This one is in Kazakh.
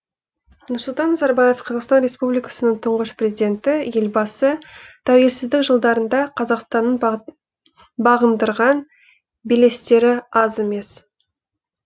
нұрсұлтан назарбаев қазақстан республикасының тұңғыш президенті елбасы тәуелсіздік жылдарында қазақстанның бағындырған белестері аз емес